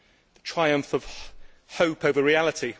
A triumph of hope over reality.